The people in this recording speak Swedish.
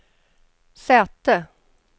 säte